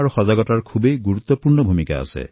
প্ৰশিক্ষণ তথা সজাগতা মহত্বপূৰ্ণ দায়িত্ব হয়